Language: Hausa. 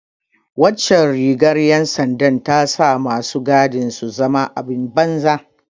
Waccan rigar ’yan sandar ta sa masu gadin su zama abin banza.